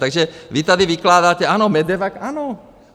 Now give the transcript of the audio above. Takže vy tady vykládáte - ano, MEDEVAC, ano.